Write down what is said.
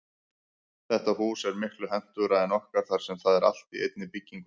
Þetta hús er miklu hentugra en okkar þar sem það er allt í einni byggingu.